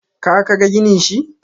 ka ka ga ginin shi?